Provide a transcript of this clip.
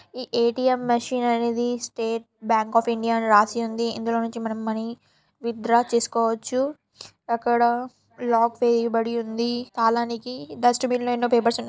ATM machine అనేది State Bank of India అని రాసి ఉంది ఇందులో నుంచి మనం మనీ విత్ డ్రా చేసుకోవచ్చు అక్కడ లాక్ వేయబడి ఉంది. తాలానికి డస్ట్ బిన్ లో ఉన్న--పేపర్స్ ఉన్నాయి.